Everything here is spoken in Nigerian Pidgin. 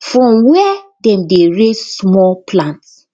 from where dem dey raise small plants